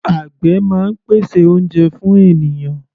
Àgbè máa ń pèsè oúnjẹ fún ènìyàn.